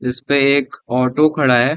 इसपे एक ऑटो खड़ा है।